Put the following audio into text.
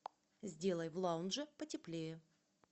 сделай в лаунже потеплее